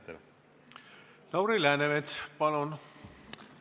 Lauri Läänemets, palun!